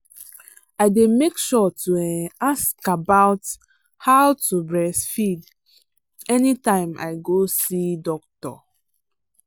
i day make sure to um ask about how to breastfeed anytime i go see doctor.